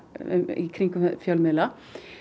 í kringum fjölmiðla